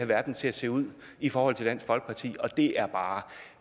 verden til at se ud i forhold til dansk folkeparti og det er bare